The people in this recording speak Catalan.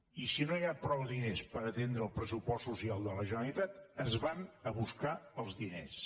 i si no hi ha prou diners per atendre el pressupost social de la ge·neralitat es van a buscar els diners